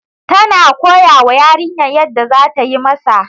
Tana koyawa yarinyar yadda za tayi Masa